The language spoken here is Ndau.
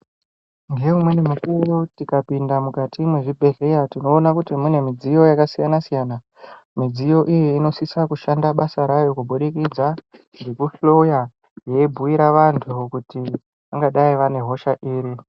Ngeimweni mukuwo tikapinda mukati mwezvibhedhleya tinoona kuti mune midziyo yakasiyana siyana midziyo iyi inosisa kushanda basa rayo kuburikidza ngekuhloya yeibhuira vantu kuti vangadai vane hosha iri.